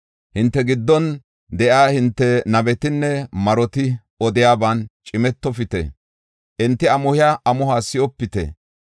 Hinte giddon de7iya hinte nabetinne maroti odiyaban cimetofite; enti amuhiya amuhuwa si7opite.